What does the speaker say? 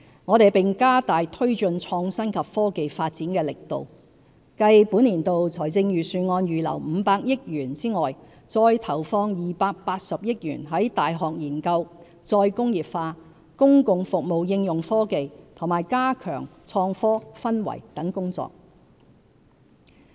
我們並加大推進創新及科技發展的力度，繼本年度財政預算案預留的500億元外，再投放280億元在大學研究、再工業化、公共服務應用科技和加強創科氛圍等工作。